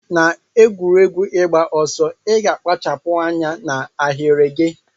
Na egwuregwu igba ọsọ iga akpachapu anya na ahiri gi.